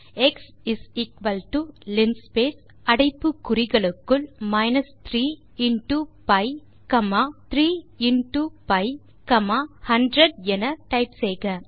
எப்படி எனில் x linspace அடைப்பு குறிகளுக்குள் minus 3 into pi comma 3 into pi comma 100 என டைப் செய்க